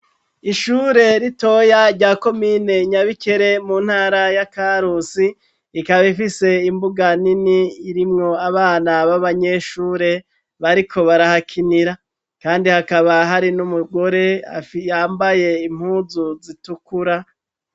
Ishure ritoya rya komine Nyabikere, mu ntara ya Karusi, rikaba rifise imbuga nini irimwo abana b'abanyeshure bariko barahakinira. Kandi hakaba hari n'umugore yambaye impunzu zitukura.